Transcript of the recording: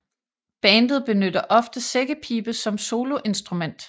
Bandet benytter ofte sækkepibe som soloinstrument